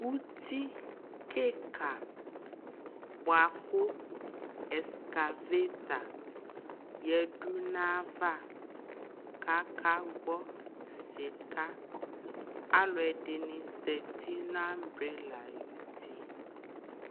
ʋti kikaa bʋakʋ ɛscavata yɛdʋ nʋ aɣa kʋ aka gbɔ sika, alʋɛdini zati nʋ umbrella ayʋti